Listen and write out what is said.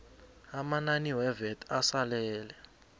amanani wevat asalele